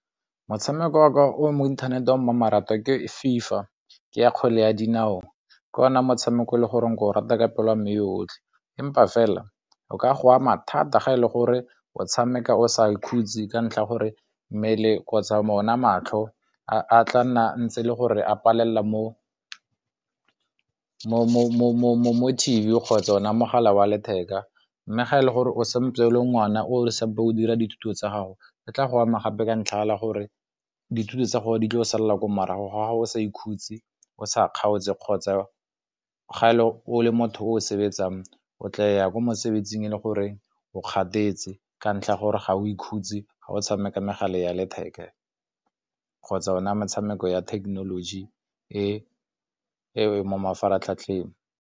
Motshameko wa ka wa mo inthanete o mmamoratwa ke FIFA ke ya kgwele ya dinao ke ona motshameko le gore o ke o rata ka pelo a mme yotlhe empa fela o ka go ama thata ga e le gore o tshameka o sa ikhutse ka ntlha ya gore mmele kgotsa mo ona matlho a tla nna ntse le gore a palela mo T_V kgotsa ona mogala wa letheka, mme ga e le gore o santse o le ngwana o sampo o dira dithuto tsa gago di tla go ama gape ka ntlha ya gore dithuto tsa gore di tla salela ko morago ga o sa ikhutse o sa kgaotse kgotsa ga o le motho o sebetsang o tla ya kwa mosebetsing e le gore o kgathetse ka ntlha ya gore ga o ikhutse ga o tshameka megala ya letheka kgotsa ona metshameko ya technology e e mo mafaratlhatlheng.